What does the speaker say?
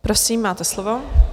Prosím, máte slovo.